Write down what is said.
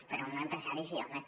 però un empresari sí home